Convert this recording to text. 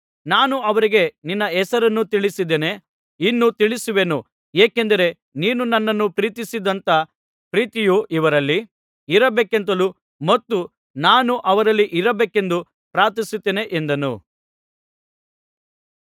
ನಾನು ಅವರಿಗೆ ನಿನ್ನ ಹೆಸರನ್ನು ತಿಳಿಸಿದ್ದೇನೆ ಇನ್ನೂ ತಿಳಿಸುವೆನು ಏಕೆಂದರೆ ನೀನು ನನ್ನನ್ನು ಪ್ರೀತಿಸಿದಂಥ ಪ್ರೀತಿಯು ಇವರಲ್ಲಿ ಇರಬೇಕೆಂತಲೂ ಮತ್ತು ನಾನೂ ಅವರಲ್ಲಿ ಇರಬೇಕೆಂದೂ ಪ್ರಾರ್ಥಿಸುತ್ತೇನೆ ಎಂದನು